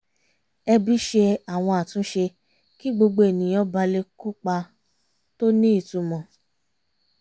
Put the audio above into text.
ẹbí ṣe àwọn àtúnṣe kí gbogbo ènìyàn ba lè kópa tó ní ìtumọ̀